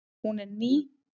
Hún er ný.